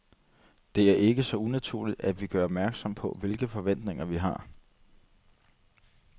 Det er ikke så unaturligt, at vi gør opmærksom, på hvilke forventninger, vi har.